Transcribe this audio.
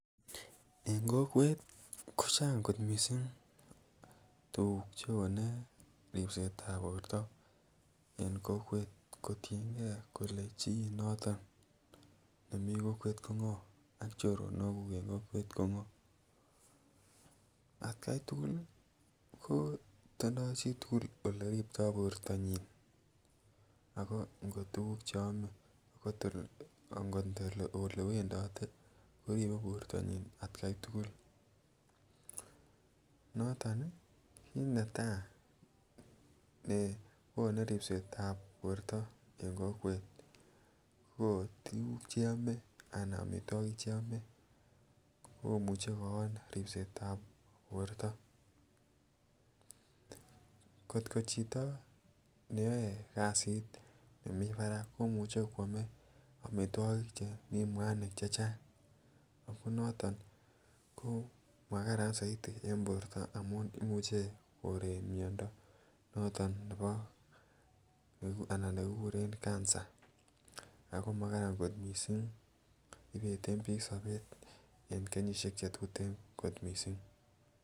En kokwet kochang kot miising tuguk che onee ripset ab poorto, en kokwet kotiengee kole chii noton nemii kokwet ko ngoo ak choronokguk en kokwet ko ngoo, at kai tugul ko tindoo chitugul ole riptoo poorto nyiin ago ngo tuguk che oome ak ngot ole wendote koribe poortonyin at kai tugul noton ii ki netai ne konuu ripset ab poorto en kokwet ko tuguk cheomee anan omitwogik cheome komuche kooon ripset ab poorto, kot ko chito neyoe kasit nemii barak komuche kwomee omitwokik chemii mwanik chechang ago noton ko maharani mising en poorto amun imuche koreek myoondo noton nebo anan negigureen cancer ago magaran kot miising ibeten biik sobeet en kenyisiek chetuten kot mising.